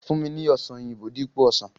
Fun mi ni ọsan oyinbo dipo osan!